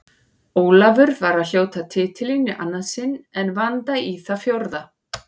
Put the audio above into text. Ólafur var að hljóta titilinn í annað sinn en Vanda í það fjórða.